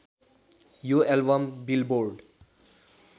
यो album billboard